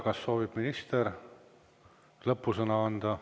Kas soovib minister lõppsõna esitada?